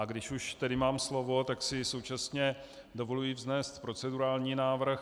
A když už tedy mám slovo, tak si současně dovoluji vznést procedurální návrh.